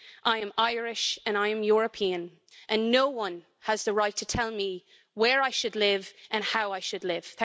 I am Irish and I am European and no one has the right to tell me where I should live and how I should live.